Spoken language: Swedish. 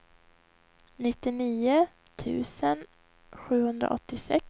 nittionio tusen sjuhundraåttiosex